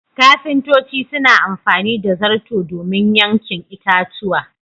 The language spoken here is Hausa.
Ƙafintoci suna amfani da zarto domin yankin itatuwa.